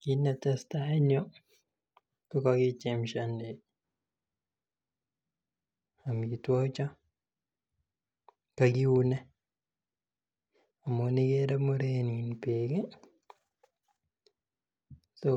Kit netesetai en yuu kokokichemshoni amitwogik chon, kokokiune amun ikere muren beek ih so